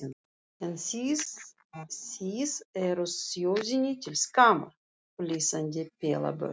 En þið þið eruð þjóðinni til skammar, flissandi pelabörn.